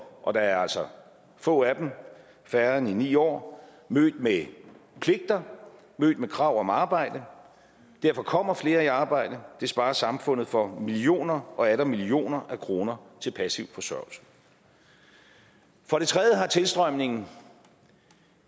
og der er altså få af dem færre end i ni år mødt med pligter mødt med krav om arbejde derfor kommer flere i arbejde det sparer samfundet for millioner og atter millioner af kroner til passiv forsørgelse for det tredje har tilstrømningen